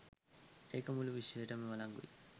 ඒක මුළු විශ්වයටම වලංගුයි.